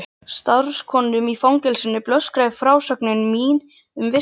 Starfskonum í fangelsinu blöskraði frásögn mín um vistina í